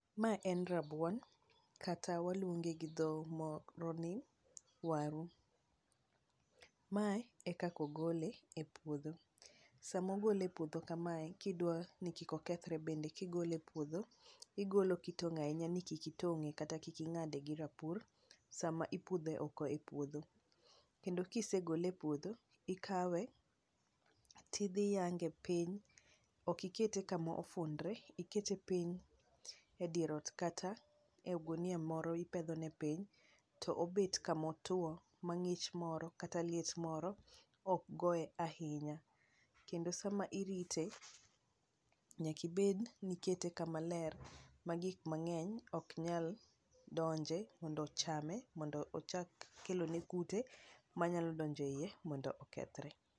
ae en rabuon kata waluonge go dho moro ni waru ,mae e kaka ogole e puodho sama ogole e puodho kamae kidwa ni kik okethre bende kigole e puodho ,igolo kitang ahinya ni kik ingade gi rapur sama inpudhe oko e puodho, kendo kisegole epuodho ikawe tidhi ti dhi yange piny okikete kama ofundre ikete piny e dier ot kata ogunia moro ipedho ne piny to obet kama otuo ma ng'ich moro kata liet moro ok goye ahinya, kendo sama irite nyaka ibed ni ikete kama ler ma gik mang'eny ok nyal donje kendo chame mondo ochak kelo ne kute manyalo donje iye mondo okethe.